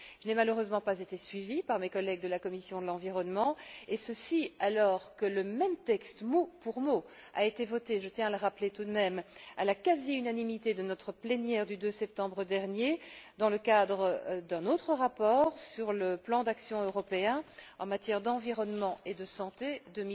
Je n'ai malheureusement pas été suivie par mes collègues de la commission de l'environnement, et ceci, alors que le même texte, mot pour mot, a été voté je tiens à le rappeler tout de même à la quasi unanimité de notre plénière du 2 septembre dernier, dans le cadre d'un autre rapport sur le plan d'action européen en matière d'environnement et de santé pour la période